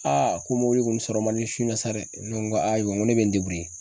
Aa ko mɔbili kɔni sɔrɔ man di su in na sa dɛ. Ne ko aa i jɔ n ko ne be n